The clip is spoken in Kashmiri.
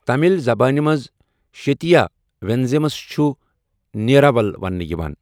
تَملِ زبانہِ منٛز شیتیا ونیزمَس چھُ نیراول وننہٕ یِوان۔